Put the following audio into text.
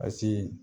A si